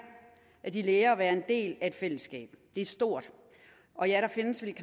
de lærer at være en del af et fællesskab det er stort og ja der findes vel